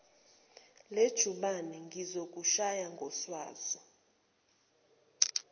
lejubane ngizokushaya ngoswazi